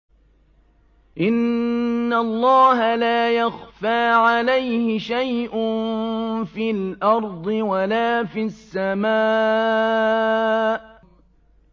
إِنَّ اللَّهَ لَا يَخْفَىٰ عَلَيْهِ شَيْءٌ فِي الْأَرْضِ وَلَا فِي السَّمَاءِ